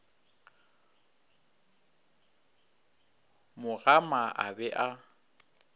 mo gama a be a